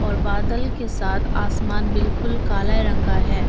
और बादल के साथ आसमान बिल्कुल काले रंग का है।